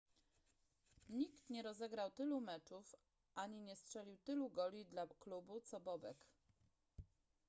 nikt nie rozegrał tylu meczów ani nie strzelił tylu goli dla klubu co bobek